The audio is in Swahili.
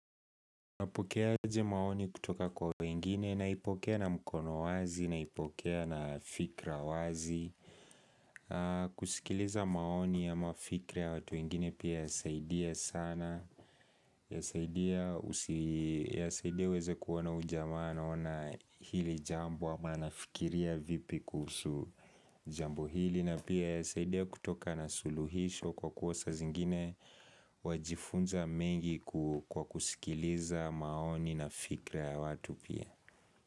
Napokeaje maoni kutoka kwa wengine, naipokea na mkono wazi, naipokea na fikra wazi kusikiliza maoni ya mafikra ya watu wengine pia yasaidia sana Yasaidia uweze kuona huyu jamaa anaona hili jambo, ama anafikiria vipi kuhusu jambo hili na pia husaidia kutoka na suluhisho kwa kua saa zingine. Wajifunza mengi kwa kusikiliza maoni na fikra ya watu pia.